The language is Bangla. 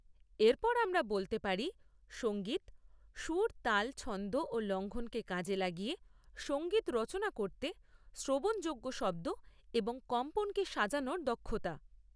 এরপর আমরা বলতে পারি সঙ্গীত সুর, তাল, ছন্দ ও লঙ্ঘনকে কাজে লাগিয়ে সংগীত রচনা করতে শ্রবণযোগ্য শব্দ এবং কম্পনকে সাজানোর দক্ষতা।